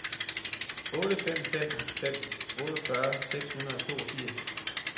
otte fem fem fem otteogfyrre seks hundrede og toogfirs